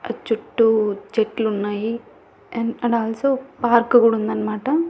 చుట్టూ చెట్లు ఉన్నాయి. అండ్ అండ్ ఆల్సో పార్కు గూడా ఉందన్నమాట.